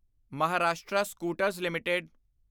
Maharashtra scooters LTD